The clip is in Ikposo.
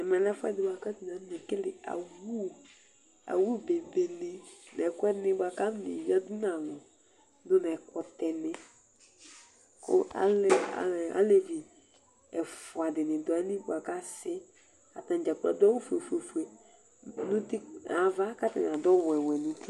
Ɛmɛlɛ ɛfʋɛdi bʋakʋ atani akɔnekele awʋ bebe ni nʋ ɛkʋɛdi bʋakʋ akɔneyadʋ nʋ alʋ, dʋnʋ ɛkʋtɛni kʋ alevi ɛfʋadini dʋ ayili bʋakʋ asi Atani dzakplo adʋ awʋfue fue nʋ ava kʋ atani adʋ ɔwɛwɛ nʋ uti